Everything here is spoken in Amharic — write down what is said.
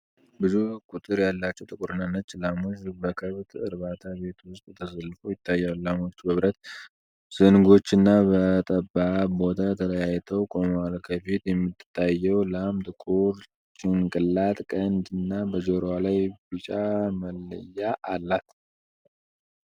ብዙ ቁጥር ያላቸው ጥቁር እና ነጭ ላሞች በከብት እርባታ ቤት ውስጥ ተሰልፈው ይታያሉ። ላሞቹ በብረት ዘንጎችና በጠባብ ቦታ ተለያይተው ቆመዋል። ከፊት የምትታየው ላም ጥቁር ጭንቅላት፣ ቀንድ እና በጆሮዋ ላይ ቢጫ መለያ አላት